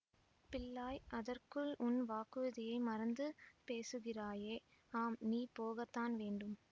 பிள்ளாய் அதற்குள் உன் வாக்குறுதியை மறந்து பேசுகிறாயே ஆம் நீ போகத்தான் வேண்டும்